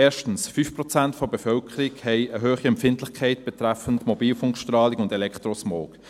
– Erstens: 5 Prozent der Bevölkerung haben eine hohe Empfindlichkeit betreffend Mobilfunkstrahlung und Elektrosmog.